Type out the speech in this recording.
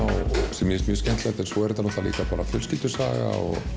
sem mér finnst mjög skemmtilegt en svo er þetta líka fjölskyldusaga